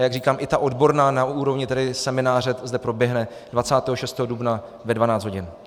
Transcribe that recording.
A jak říkám, i ta odborná na úrovni semináře zde proběhne 26. dubna ve 12 hodin.